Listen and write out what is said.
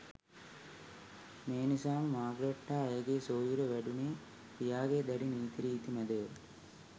මෙනිසාම Margaret හා ඇයගේ සොහොයුරිය වැඩුණේ පියාගේ දැඩි නීති රීති මැදය.